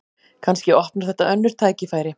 Kannski opnar þetta önnur tækifæri